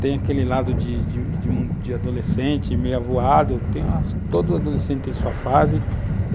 tem aquele lado de de de adolescente, meio avoado, tem todo adolescente em sua fase.